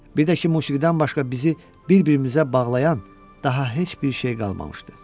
Bir də ki, musiqidən başqa bizi bir-birimizə bağlayan daha heç bir şey qalmamışdı.